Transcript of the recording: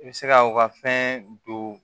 I bɛ se ka u ka fɛn don